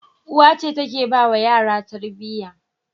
Uwa ce take bawa yara Tarbiyya